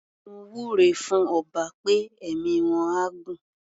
Mo wúre fún ọba pé ẹ̀mí wọ́n á gún.